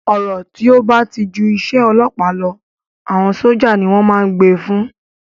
Ọ̀rọ̀ tí ó ba ti ju isẹ́ ọlọ́ọ̀pá lọ, àwọn sójà ni wọ́n ma n gbé e fún